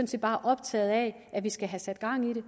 set bare optaget af at vi skal have sat gang i det